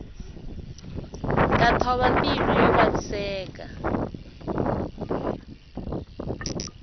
ta thova mbilu yo vaviseka